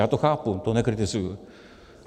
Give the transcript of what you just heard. Já to chápu, to nekritizuji.